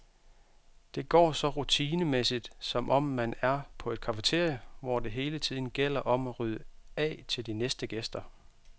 Det går så rutinemæssigt, som om man er på et cafeteria, hvor det hele tiden gælder om at rydde af til de næste gæster.